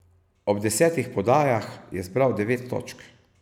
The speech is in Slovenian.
Ob desetih podajah je zbral devet točk.